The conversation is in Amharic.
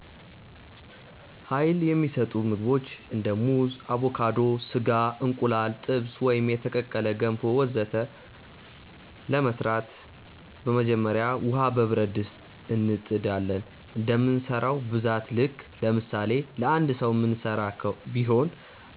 Uይል የሚሰጡ ምግቦች እንደ ሙዝ አቮካዶ፣ ስጋ፣ እንቁላል ጥብስ ወይም የተቀቀለ፣ ገንፎ ወዘተ ገንፎ ለመስራት በመጀመሪያ ውሃ በብረት ድስት እንጥ ዳለን እንደምንሰራው ብዛት ልክ ለምሳሌ ለአንድ ሰዉ ምንስራ ቢሆን